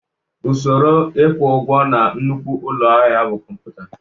Usoro ịkwụ ụgwọ na nnukwu ụlọ ahịa bụ kọmputa